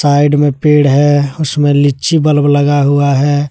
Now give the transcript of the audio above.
Side में पेड़ हैउसमें लीची बल्ब लगा हुआ है।